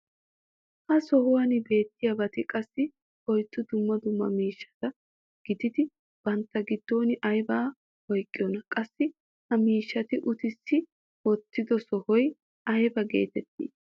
ha sohuwan beettiyaabati qassi oyddu dumma dumma miishshata gididi bantta giddon aybaa oyqqidonaa? qassi ha miishshaa uttissi wottido sohoy aybba geetettii?